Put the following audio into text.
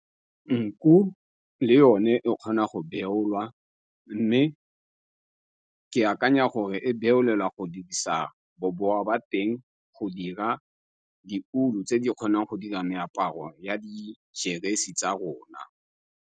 Nku le yone e kgona go beolwa mme ke akanya gore e beolelwa go dirisa bobowa ba teng go dira ditulo tse di kgonang go dira meaparo ya dijeresi tsa rona.